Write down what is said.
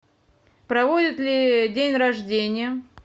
проводят ли день рождения